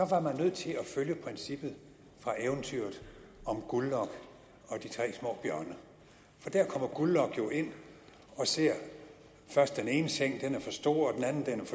var man nødt til at følge princippet fra eventyret om guldlok og de tre små bjørne der kommer guldlok jo ind og ser først den ene seng den er for stor